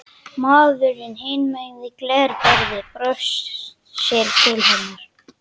Maðurinn hinum megin við glerborðið brosir til hennar.